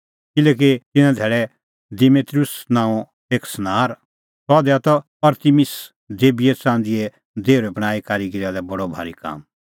किल्हैकि तिन्नां धैल़ै दिमेत्रियुस नांओं एक सनार सह दैआ त अरतिमिस देबीए च़ंदीए देहुरै बणांईं कारीगीरा लै बडअ भारी काम